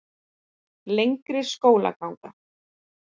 Lengri skólaganga